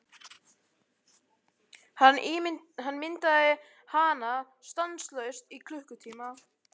Hann myndaði hana stanslaust í klukkutíma.